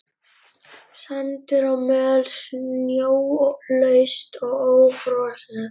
Sandur og möl snjólaust og ófrosið.